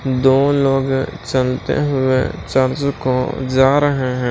दो लोग चलते हुए चंद्र को जा रहे हैं।